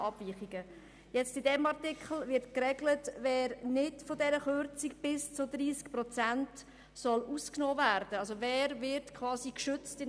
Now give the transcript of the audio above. Im vorliegenden Artikel wird geregelt, wer von dieser Kürzung von bis zu 30 Prozent ausgenommen werden soll, wer also quasi «geschützt» wird.